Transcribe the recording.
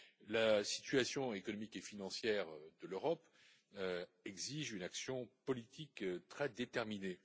La situation économique et financière de l'Europe exige une action politique très déterminée.